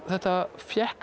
þetta